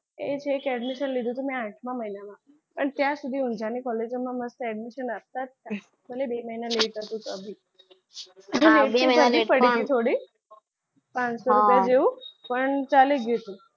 એ છે કે admission લીધું મેં આઠમા મહિનામાં અને ત્યાં સુધી ઊંજાની college માં admission આપતા જતા ભલે બે મહિના late હતું તો બી. પાંચસો રૂપિયા જેવું પણ ચાલી ગયું.